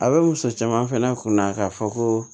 A bɛ wusu caman fɛnɛ kunna k'a fɔ ko